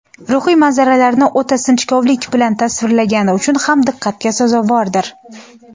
ruhiy manzaralarni o‘ta sinchkovlik bilan tasvirlagani uchun ham diqqatga sazovordir.